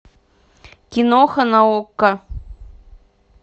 киноха на окко